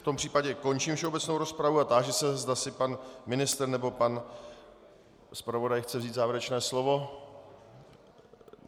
V tom případě končím všeobecnou rozpravu a táži se, zda si pan ministr nebo pan zpravodaj chce vzít závěrečné slovo.